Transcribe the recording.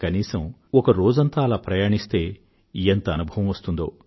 కనీసం ఒక రోజంతా అలా ప్రయాణిస్తే ఎంత అనుభవం వస్తుందో